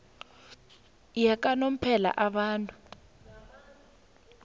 yakanomphela abantu